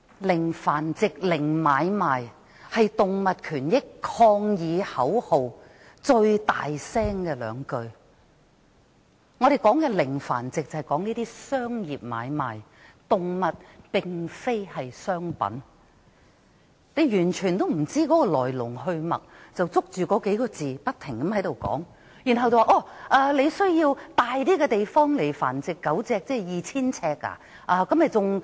"零繁殖"及"零買賣"是爭取動物權益者抗議口號中最大聲的兩句話，所說的"零繁殖"，是指商業繁殖買賣，而動物並非商品，她完全不知來龍去脈，翻來覆去批評那句話，然後說，要有較大地方來繁殖狗隻，豈非要繁殖更多狗隻？